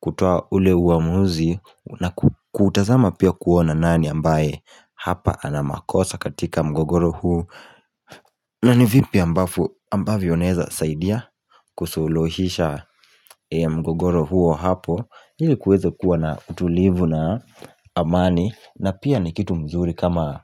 kutoa ule uamuzi na kutazama pia kuona nani ambaye hapa ana makosa katika mgogoro huu nani vipi ambavyo naeza saidia kusulohisha mgogoro huo hapo ili kuwezo kuwa na utulivu na amani na pia ni kitu mzuri kama